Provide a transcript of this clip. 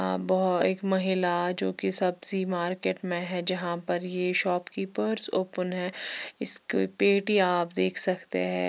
वो एक महीला जो की सब्जी मार्केट में है जहा पर ये शोप कीपर्स ओपेन है इसका पेटी आप देख सकते है।